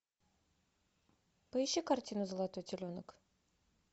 поищи картину золотой теленок